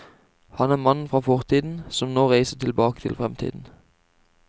Han er mannen fra fortiden som nå reiser tilbake til fremtiden.